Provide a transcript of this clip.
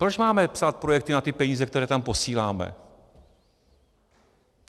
Proč máme psát projekty na ty peníze, které tam posíláme?